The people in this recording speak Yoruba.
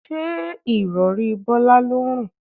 Ṣé Ìrọ̀rí Bọ́lá ló ń rùn?